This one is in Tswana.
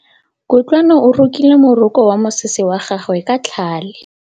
Kutlwanô o rokile morokô wa mosese wa gagwe ka tlhale.